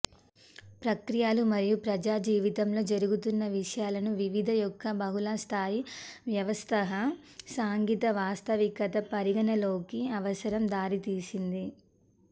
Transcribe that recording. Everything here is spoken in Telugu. ప్రక్రియలు మరియు ప్రజా జీవితంలో జరుగుతున్న విషయాలను వివిధ ఒక బహుళస్థాయి వ్యవస్థగా సాంఘిక వాస్తవికత పరిగణలోకి అవసరం దారితీసింది